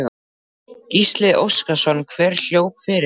Gísli Óskarsson: Hver hljóp fyrir þig?